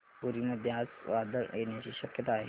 पुरी मध्ये आज वादळ येण्याची शक्यता आहे का